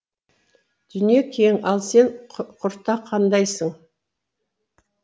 дүние кең ал сен құртақандайсың